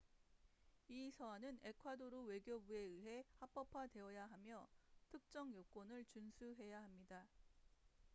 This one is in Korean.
이 서한은 에콰도르 외교부에 의해 합법화되어야 하며 특정 요건을 준수해야 합니다